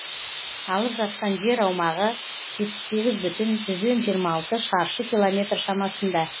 алып жатқан жер аумағы жетпіс егзі бүтін жиырма алты шаршы километр шамасында